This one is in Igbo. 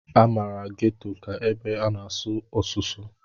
A maara Ghetto ka ebe a na-asụ ọsụsụ.